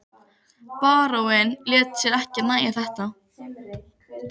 Hef nefnilega aldrei farið ofaní saumana á einveru minni.